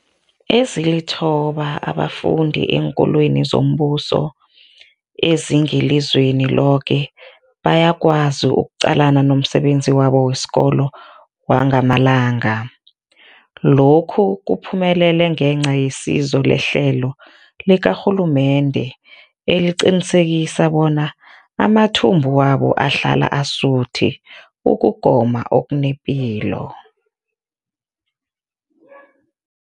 Ezilithoba abafunda eenkolweni zombuso ezingelizweni loke bayakwazi ukuqalana nomsebenzi wabo wesikolo wangamalanga. Lokhu kuphumelele ngenca yesizo lehlelo likarhulumende eliqinisekisa bona amathumbu wabo ahlala asuthi ukugoma okunepilo.